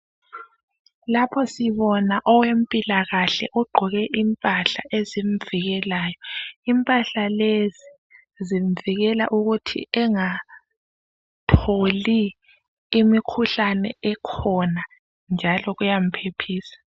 Lapho sibona owezempilakahle. Ogqoke impahla ezimvikelayo. Impahla lezi, zimvikela ukuthi angatholi imikhuhlane ekhona, njalo kuyamphephisa.